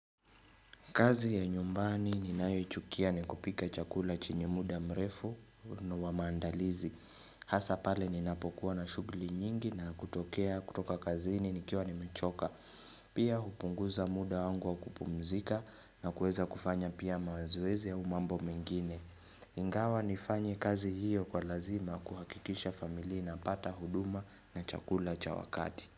Kazi ya nyumbani ninayoichukia ni kupika chakula chenye muda mrefu wa maandalizi. Hasa pale ninapokuwa na shughuli nyingi na kutokea kutoka kazini nikiwa nimechoka. Pia hupunguza muda wangu wa kupumzika na kuweza kufanya pia mazoezi au mambo mengine. Ingawa nifanye kazi hiyo kwa lazima kuhakikisha familia inapata huduma na chakula cha wakati.